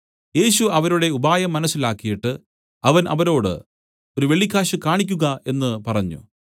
യേശു അവരുടെ ഉപായം മനസ്സിലാക്കിയിട്ട് അവൻ അവരോട് ഒരു വെള്ളിക്കാശ് കാണിക്കുക എന്നു പറഞ്ഞു